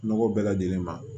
Nɔgɔ bɛɛ lajɛlen ma